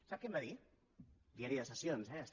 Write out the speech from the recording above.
sap què em va dir diari de sessions eh hi és